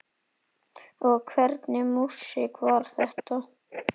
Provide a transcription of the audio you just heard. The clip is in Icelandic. Og hvernig músík var þetta?